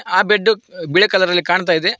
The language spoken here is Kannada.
ಅ ಬಿಡ್ದು ಬಿಳೆ ಕಲರ್ ಅಲ್ಲಿ ಕಾಣ್ತಾ ಇದೆ.